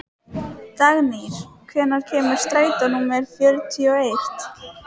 Dagnýr, hvenær kemur strætó númer fjörutíu og eitt?